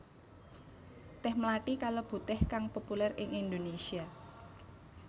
Tèh mlathi kalebu tèh kang populér ing Indonésia